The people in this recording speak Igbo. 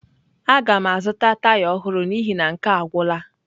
Aga m azụta taya ọhụrụ n'ihi na nke a agwụla.